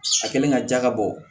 A kɛlen ka ja ka bɔ